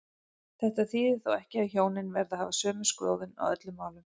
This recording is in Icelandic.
Þetta þýðir þó ekki að hjónin verði að hafa sömu skoðun á öllum málum.